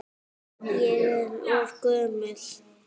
Ég er of gömul.